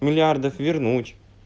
миллиардов вернуть